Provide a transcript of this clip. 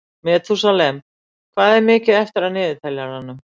Metúsalem, hvað er mikið eftir af niðurteljaranum?